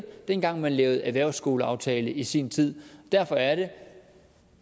dengang man lavede erhvervsskoleaftale i sin tid derfor er det